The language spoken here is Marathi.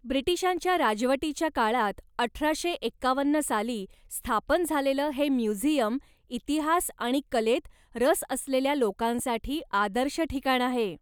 ब्रिटिशांच्या राजवटीच्या काळात अठराशे एकावन्न साली स्थापन झालेलं हे म्युझियम इतिहास आणि कलेत रस असलेल्या लोकांसाठी आदर्श ठिकाण आहे.